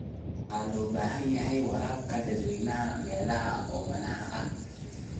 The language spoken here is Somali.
Waxaa loo baahan yahay waraabka dadweynaha meelaha oomanaha ah.